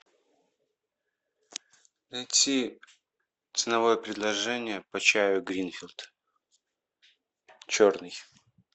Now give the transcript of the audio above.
найти ценовое предложение по чаю гринфилд черный